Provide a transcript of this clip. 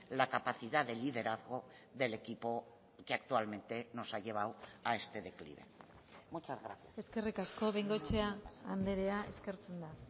la capacidad del liderazgo del equipo que actualmente nos ha llevado a este declive muchas gracias eskerrik asko bengoechea andrea eskertzen da